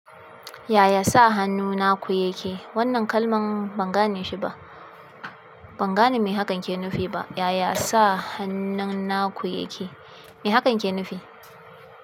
Yaya sa hannu na ku yake? Wannan kalman ban gane shi ba. Ban gane me hakan ke nufi ba. Yaya sa hannun na ku yake? Me hakan ke nufi?